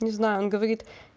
не знаю он говорит